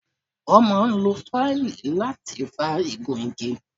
Wọ́n máa ń lo fáìlì láti fá igun igi.